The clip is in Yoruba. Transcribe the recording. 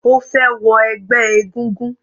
Ó fẹ́ wọ ẹgbẹ́ egúngún.